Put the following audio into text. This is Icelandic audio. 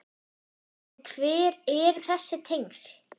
En hver eru þessi tengsl?